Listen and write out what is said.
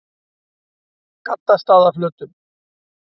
Gaddstaðaflötum